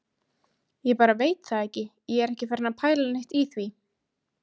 Ég bara veit það ekki. ég er ekki farinn að pæla neitt í því.